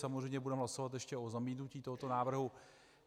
Samozřejmě budeme hlasovat ještě o zamítnutí tohoto návrhu.